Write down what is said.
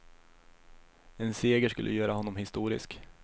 En seger skulle göra honom historisk.